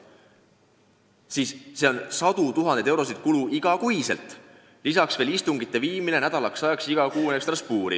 See teeb iga kuu kokku sadu tuhandeid eurosid kulu, lisaks veel istungite üleviimine iga kuu nädalaks ajaks Strasbourgi.